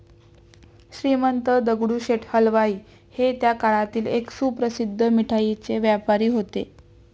श्रीमंत दगडूशेठ हलवाई हे त्या काळातील एक सुप्रसिद्ध मिठाईचे व्यापारी होते.